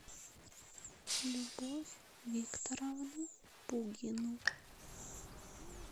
любовь викторовну пугину